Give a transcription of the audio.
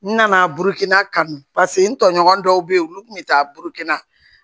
N nana burukina kanu paseke n tɔɲɔgɔn dɔw be yen olu kun be taa burukina